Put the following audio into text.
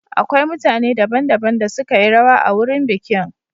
Akwai mutane daban-daban da suka yi rawa a wurin bikin.